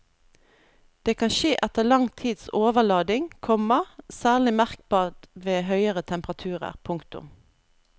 Det kan skje etter lang tids overlading, komma særlig merkbart ved høyere temperaturer. punktum